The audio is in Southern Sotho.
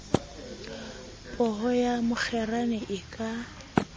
poho ya mokgerane e ka